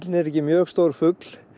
er ekki mjög stór fugl